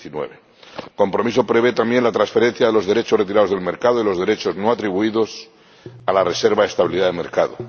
2019. El compromiso prevé también la transferencia de los derechos retirados del mercado y los derechos no atribuidos a la reserva de estabilidad del mercado.